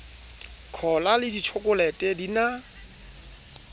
cola le ditjhokolete di na